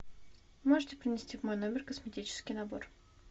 можете принести в мой номер косметический набор